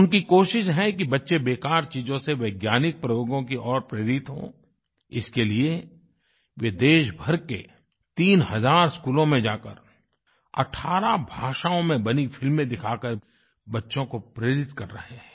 उनकी कोशिश है कि बच्चे बेकार चीज़ों से वैज्ञानिक प्रयोगों की ओर प्रेरित हों इसके लिए वे देशभर के तीन हज़ार स्कूलों में जाकर 18 भाषाओं में बनी फ़िल्में दिखाकर बच्चों को प्रेरित कर रहे हैं